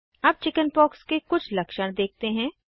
अब चिकिन्पॉक्स के कुछ लक्षण देखते हैं